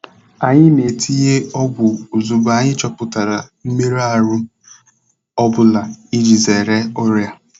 Anyị na-etinye ọgwụ ozugbo anyị chọpụtara mmerụ ahụ ọ bụla iji zere ọrịa.